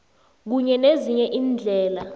kunye nezinye iindlela